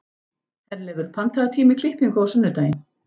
Herleifur, pantaðu tíma í klippingu á sunnudaginn.